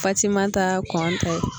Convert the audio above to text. Fatimata Kɔnta ye